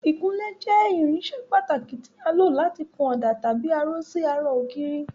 Ìkunlé jẹ́ irinṣẹ́ pàtàkì tí à ń lò láti kun ọ̀dà tàbí aró sí ara ògiri.